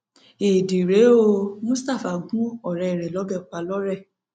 ẹẹdì rèé o mustapha gún ọrẹ ẹ lọbẹ pa lọrẹ